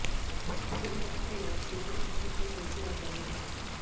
बुधवार की रात से ही जश्न का सिलसिला जारी है